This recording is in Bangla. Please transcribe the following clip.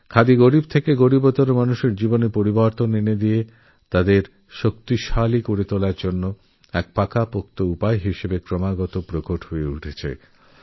খাদি দরিদ্র থেকে দরিদ্রতর ব্যক্তিরজীবনে হ্যান্ডলুম গরীব থেকে আরও গরীব মানুষের জীবনে বদল এনে তাকে সশক্ত বানানোরশক্তিশালী উপকরণ হিসাবে উঠে এসেছে